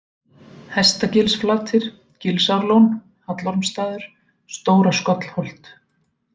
Hestagilsflatir, Gilsárlón, Hallormsstaður, Stóra-Skollholt